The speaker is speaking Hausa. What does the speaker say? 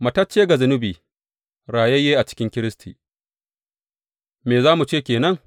Matacce ga zunubi, rayayye a cikin Kiristi Me za mu ce ke nan?